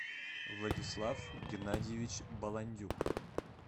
владислав геннадьевич баландюк